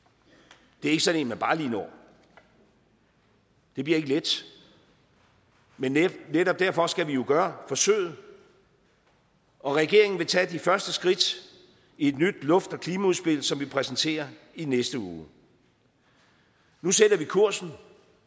det er ikke sådan en man bare lige når det bliver ikke let men netop derfor skal vi jo gøre forsøget regeringen vil tage de første skridt i et nyt luft og klimaudspil som vi præsenterer i næste uge nu sætter vi kursen